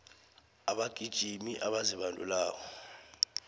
abagijimi abazibandulako